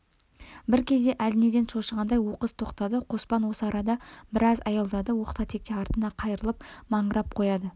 бір кезде әлденеден шошығандай оқыс тоқтады қоспан осы арада біраз аялдады оқта-текте артына қайырылып маңырап қояды